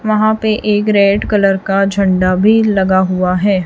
वहां पे एक रेड कलर का झंडा भी लगा हुआ है।